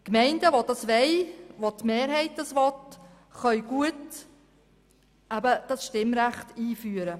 Gemeinden, in denen eine Mehrheit dies möchte, können ein solches Stimmrecht gut einführen.